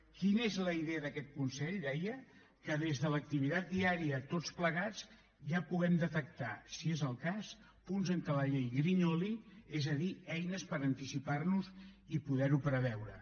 quina és la idea d’aquest consell deia que des de l’activitat diària tots plegats ja puguem detectar si és el cas punts en què la llei grinyoli és a dir eines per anticipar nos i poder ho preveure